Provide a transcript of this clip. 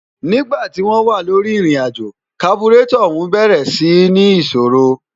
nígba tí wọ́n wà lórí ìrìnàjò, kaburétọ̀ ọ̀ún bẹ̀rẹ̀ sí ń ní ìṣòrò